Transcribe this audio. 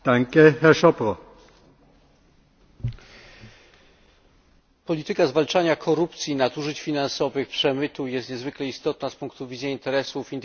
Polityka zwalczania korupcji, nadużyć finansowych, przemytu jest niezwykle istotna z punktu widzenia interesów indywidualnych budżetów państw członkowskich, jak i interesu całej Unii Europejskiej.